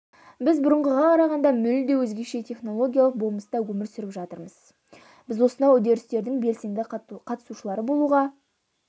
біз бұрынғыға қарағанда мүлде өзгеше технологиялық болмыста өмір сүріп жатырмыз біз осынау үдерістердің белсенді қатысушылары болуға